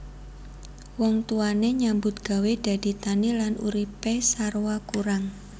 Wong tuwane nyambut gawé dadi tani lan uripe sarwa kurang